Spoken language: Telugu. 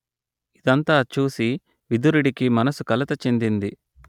ఇదంతా చూసి విదురుడికి మనసు కలత చెందింది